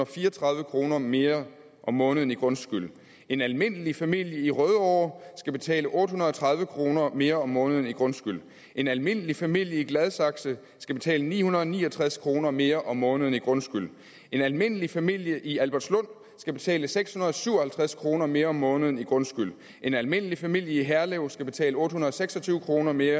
fire og tredive kroner mere om måneden i grundskyld en almindelig familie i rødovre skal betale otte hundrede og tredive kroner mere om måneden i grundskyld en almindelig familie i gladsaxe skal betale ni hundrede og ni og tres kroner mere om måneden i grundskyld en almindelig familie i albertslund skal betale seks hundrede og syv og halvtreds kroner mere om måneden i grundskyld en almindelig familie i herlev skal betale otte hundrede og seks og tyve kroner mere